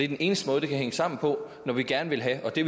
den eneste måde det kan hænge sammen på når vi gerne vil have det